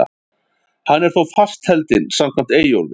Hann er þó fastheldinn samkvæmt Eyjólfi.